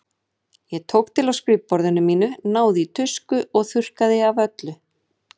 Ég tók til á skrifborðinu mínu, náði í tusku og þurrkaði af öllu.